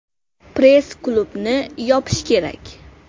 Press-klubni yopish kerak!